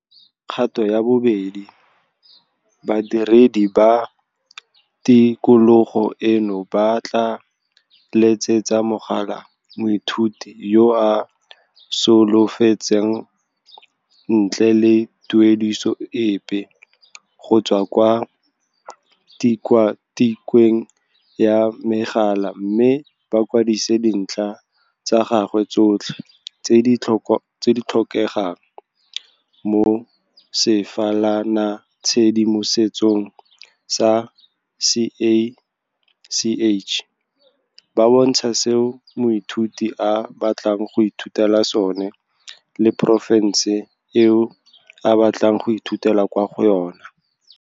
Kgato ya bo 2 - Badiredi ba tikologo eno ba tla letsetsa mogala moithuti yo a solofetsang ntle le tuediso epe, go tswa kwa tikwatikweng ya megala mme ba kwadise dintlha tsa gagwe tsotlhe tse di tlhokegang mo sefalanatshedimosetsong sa CACH, ba bontsha seo moithuti a batlang go ithutela sone le porofense eo a batlang go ithutela kwa go yona.